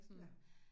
Ja